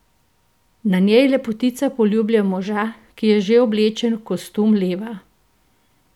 Na njej lepotica poljublja moža, ki je že oblečen v kostum leva.